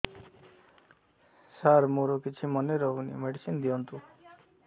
ସାର ମୋର କିଛି ମନେ ରହୁନି ମେଡିସିନ ଦିଅନ୍ତୁ